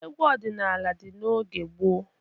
Egwu ọdịnala dị n'oge gboo.